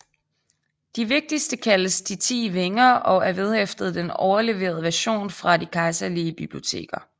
De vigtigste kaldes De Ti Vinger og er vedhæftet den overleverede version fra de kejserlige biblioteker